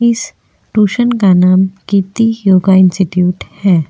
इस ट्यूशन का नाम कीर्ति योगा इंस्टीटयूट है।